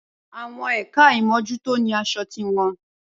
Awon ẹkà ìmójútò ní asọ ti won.